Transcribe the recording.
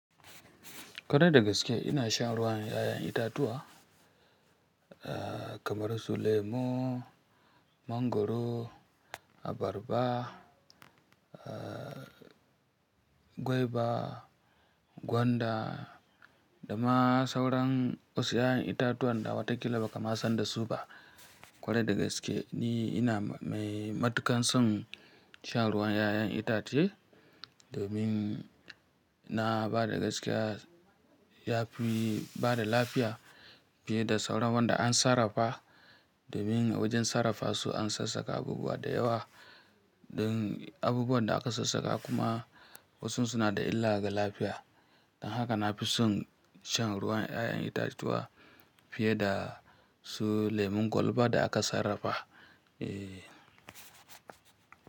Kwarai da gaske ina shan ruwan 'ya'yan itatuwa kamar su lemu, mangwaro, abarba, aah guava, gwanda, da ma sauran wasu 'ya'yan itatuwan da wataƙila ba ka ma san da su ba. Kwarai da gaske ni ina mai matuƙan son shan ruwan 'ya'yan itace domin na bada gaskiya ya fi bada lafiya fiye da sauran wanda an sarrafa domin a wajen sarrafa su an sassaƙa abubuwa da yawa. Ɗan abubuwan da aka sassaƙa kuma wasu suna da illa ga lafiya. Don haka na fi son shan ruwan 'ya'yan itatuwa fiye da su lemun kwalba da aka sarrafa. Eeeh.